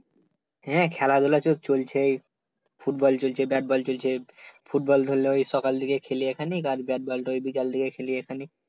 হ্যাঁ খেলাধুলা তো চলছেই, ফুটবল চলছে বেট বল চলছে ফুটবল ধরল এই সকাল থেকে খেলি এখানেই আর বেট বল ঐ বিকাল থেকে এখানেই